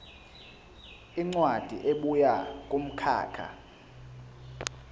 incwadi ebuya kumkhakha